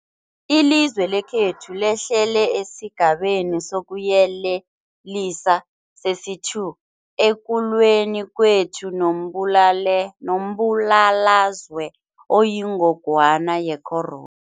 Ilizwe lekhethu lehlele esiGabeni sokuYelelisa sesi-2 ekulweni kwethu nombulalazwe oyingogwana ye-coro